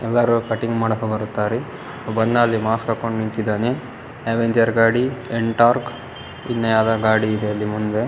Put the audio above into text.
ಎಲ್ಲರು ಕಟ್ಟಿಂಗ ಮಾಡಕ ಬರುತ್ತಾರೆ ಬಂದಲ್ಲಿ ಮಾಸ್ಕ್ ಹಾಕೊಂಡು ನಿಂತಿದ್ದಾನೆ ಆವೆಂಜರ್ ಗಾಡಿ ಎಂಟೋರ್ಕ್ ಇನ್ನ್ಯಾವುದೊ ಗಾಡಿ ಇದೆ ಅಲ್ಲಿ ಮುಂದೆ.